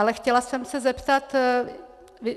Ale chtěla jsem se zeptat.